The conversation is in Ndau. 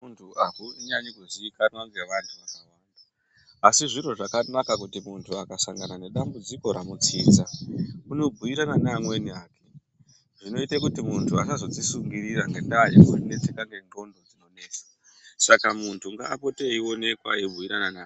Muntu ahunyanyi kuziikanwa ne vantu akawanda asi zviro zvakanaka kuti muntu akasangana nedzambudziko ramu tsidza uno bhuyirana ne amweni ake zvinoite kuti muntu asadzozi sungurira ngendaa ye kunetseka ne ngqondo dzinonesa saka muntu ngaaapote eionekwa ei bhuyirana ne amweni